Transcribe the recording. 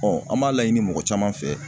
an b'a laɲini mɔgɔ caman fɛ.